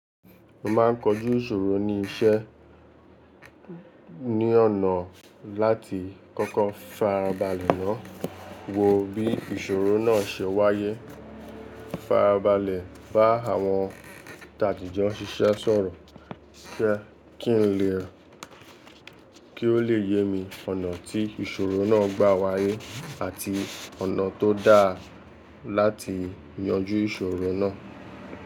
Mo ma ń kojú ìṣòro ní iṣẹ́ ní ọ̀nà láti kọ́kọ́ farabalẹ̀ náà wo bí ìṣòro náà ṣe wáyé. Farabalẹ̀ bá àwọn tà dìjọ́ n sísẹ sọ̀rọ̀ sẹ́ kí n lè kí o lè yemi ọ̀nà tí ìṣòro náà gbà wáyé àti ọ̀nà tó dáa láti yanjú ìṣòro náà.